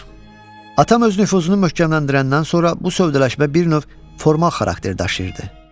Atam öz nüfuzunu möhkəmləndirəndən sonra bu sövdələşmə bir növ formal xarakter daşıyırdı.